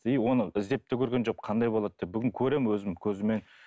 и оны іздеп те көрген жоқпын қандай болады деп бүгін көремін өзім көзіммен